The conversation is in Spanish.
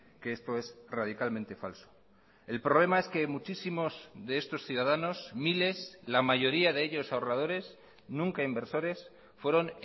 que esto es radicalmente falso el problema es que muchísimos de estos ciudadanos miles la mayoría de ellos ahorradores nunca inversores fueron